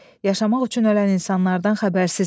Yaşamaq üçün ölən insanlardan xəbərsizik.